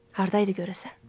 Hardaydı görəsən?